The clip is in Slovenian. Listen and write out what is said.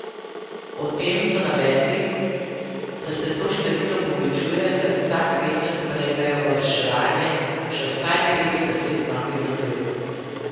Ob tem so navedli, da se to število povečuje, saj vsak mesec prejmejo v reševanje še vsaj pet do deset novih zadev.